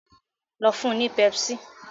lọ fún ní pepsi